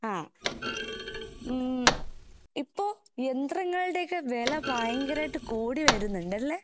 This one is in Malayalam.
ആഹ് ഉം ഇപ്പോ യന്ത്രങ്ങളുടെയൊക്കെ വെല ഭയങ്കരായിട്ട് കൂടി വരുന്നുണ്ടല്ലേ?